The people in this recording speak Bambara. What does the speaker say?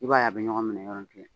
I b'a ye a bɛ ɲɔgɔn minɛ yɔrɔnin kelen